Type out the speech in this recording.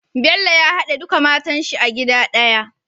Bello ya hade duka matan shi a gida daya